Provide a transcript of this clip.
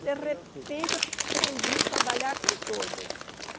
tudo De repente aprendi a trabalhar com todas.